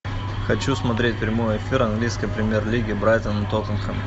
хочу смотреть прямой эфир английской премьер лиги брайтон тоттенхэм